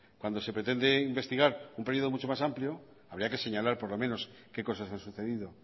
cuando se pretende investigar un periodo mucho más amplio habría que señalar por lo menos qué cosas han sucedido